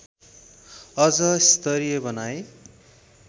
अझ स्तरीय बनाई